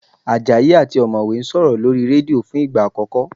Àjàyí àti ọ̀mọ̀wẹ́ ń sọ̀rọ̀ lórí rédíò fún ìgbà àkọ́kọ́